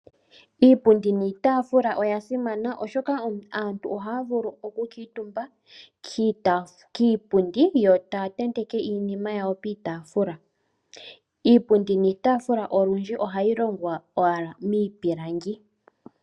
Iipundi niitafula oya simana oshoka aantu ohaya vulu oku kuuntumba kiipundi yo taya tenteke iinima yawo piitafula. Iipundi niitafula olundji ohayi longwa owala miipilangi.